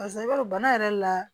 Barisa i b'a dɔn bana yɛrɛ la